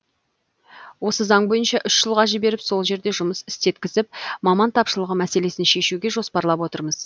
осы заң бойынша үш жылға жіберіп сол жерде жұмыс істеткізіп маман тапшылығы мәселесін шешуге жоспарлап отырмыз